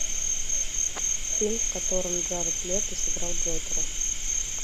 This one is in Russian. фильм в котором джаред лето сыграл джокера